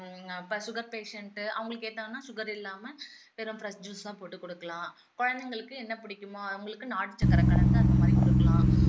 அப்போ sugar patient அவங்களுக்கு என்னன்னா sugar இல்லாம வெறும் fresh juice தான் போட்டு குடுக்கலாம் குழந்தைங்களுக்கு என்ன புடிக்குமோ அவங்களுக்கு நாட்டு சக்கரை கலந்து அந்த மாதிரி குடுக்கலாம்